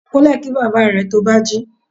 Kunle kí bàbá rẹ̀ to bá jí.